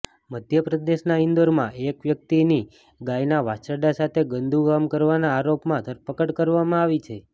મધ્યપ્રદેશના ઇન્દોરમાં એક વ્યક્તિની ગાયના વાછરડા સાથે ગંદુ કામ કરવાના આરોપમાં ધરપકડ કરવામાં આવી છે